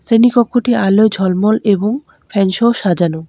শ্রেণী কক্ষটি আলোয় ঝলমল এবং ফ্যানসহ সাজানো।